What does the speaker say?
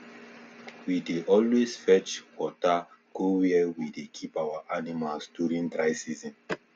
we dey always fetch water go where we dey keep our animals during dry season